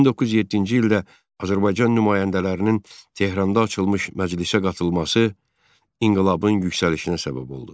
1907-ci ildə Azərbaycan nümayəndələrinin Tehranda açılmış məclisə qatılması inqilabın yüksəlişinə səbəb oldu.